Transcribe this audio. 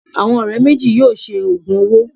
Àwọn ọ̀rẹ́ méjì yóò ṣe òògùn owó